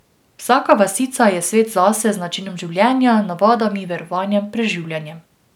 Vsaka vasica je svet zase z načinom življenja, navadami, verovanjem, preživljanjem...